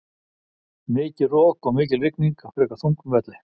Mikið rok og mikil rigning á frekar þungum velli.